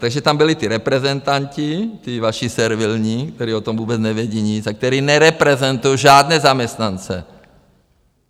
Takže tam byli ti reprezentanti, ti vaši, servilní, kteří o tom vůbec nevědí nic a kteří nereprezentují žádné zaměstnance.